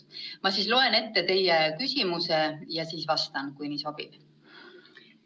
Ma loen ette teie küsimuse ja siis vastan, kui nii sobib.